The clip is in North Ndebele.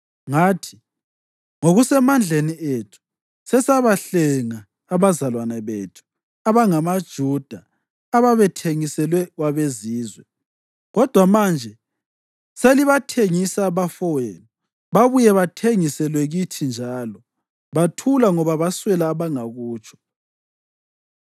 ngathi, “Ngokusemandleni ethu, sesabahlenga abazalwane bethu abangamaJuda ababethengiselwe kwabeZizwe. Kodwa manje selibathengisa abafowenu, babuye bathengiselwe kithi njalo!” Bathula ngoba baswela abangakutsho.